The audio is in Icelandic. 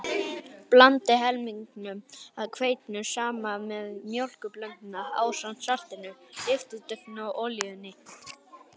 Blandið helmingnum af hveitinu saman við mjólkurblönduna ásamt saltinu, lyftiduftinu og olíunni.